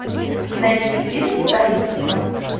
найти фильм таинство